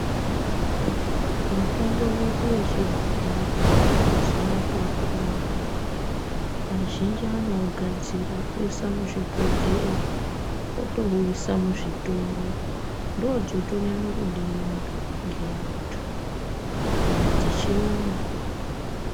Mitombo yedu yechibhoyi mazuwa atoopona anaya azhinji anougadzira oisa muzvibhodhleya otouisa muzvitoro. Ndodzotonyanye kudiwa ngeantu kupinda dzechiyungu.